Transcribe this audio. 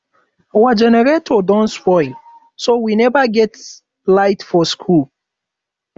our generator don spoil so we never get light for school